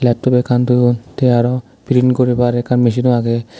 laptop ekkan thoyun the aro print guribar ekkan machino agey.